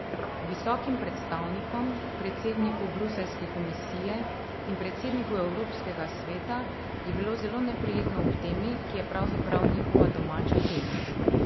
Visokim predstavnikom, predsedniku bruseljske komisije in predsedniku evropskega sveta, je bilo zelo neprijetno ob temi, ki je pravzaprav njihova domača tema.